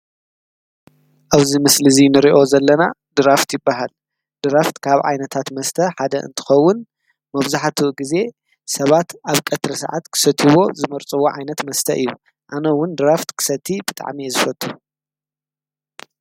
ኣብዚ ምስሊ እዚ ንሪኦ ዘለና ድራፍት ይባሃል፡፡ ድራፍት ካብ ዓይነታት መስተ ሓደ እንትኸውን መብዛሕትኡ ግዜ ሰባት ኣብ ቀትሪ ጊዜ ክሰትይዎ ዝመርፅዎ ዓይነት መስተ እዩ፡፡ ኣነ ውን ድራፍት ክሰቲ ብጣዕሚ እየ ዝፈቱ